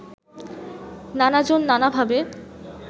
নানাজন নানাভাবে